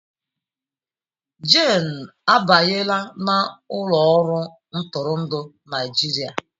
Jane abanyela n'ụlọ ọrụ ntụrụndụ Naịjirịa